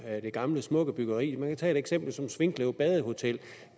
gamle smukke byggeri man kan tage et eksempel som svinkløv badehotel